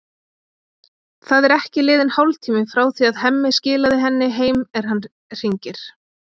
Það er ekki liðinn hálftími frá því að Hemmi skilaði henni heim er hann hringir.